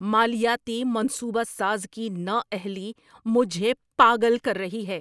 مالیاتی منصوبہ ساز کی نااہلی مجھے پاگل کر رہی ہے!